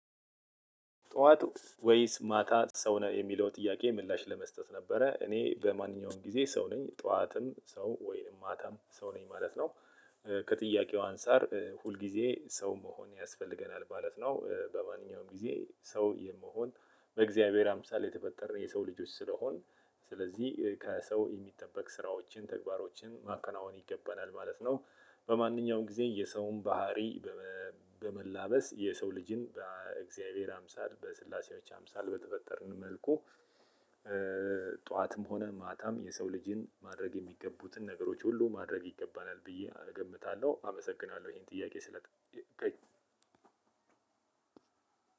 ጠዋት ወይስ ማታ ሰው ነህ የሚለው ጥያቄ ምላሽ ለመስጠት ነበረ እኔ በማንኛውም ጊዜ ሰው ነኝ ጠዋትም ሰው ወይንም ማታም ሰው ነኝ ማለት ነው። ከጥያቄው አንፃር ሁል ጊዜ ሰው መሆን ያስፈልገናል ማለት ነው። በማንኛውም ጊዜ ሰው የመሆን በእግዚአብሔር አምሳል የተፈጠረ የሰው ልጆች ስለሆን ስለዚህ ከሰው የሚጠበቅ ስራዎችን ተግባሮችን ማከናወን ይገባናል ማለት ነው። በማንኛውም ጊዜ የሰውን ባህሪ በመላበስ የሰው ልጅን በእግዚአብሔር አምሳል በስላሴዎች አምሳል በተፈጠርን መልኩ። ጠዋትም ሆነ ማታ የሰው ልጅን ማድረግ የሚገቡትን ነገሮች ሁሉ ማድረግ ይገባናል ብዬ እገምታልው አመሰግናለው። ይሄን ጥያቄ ስለ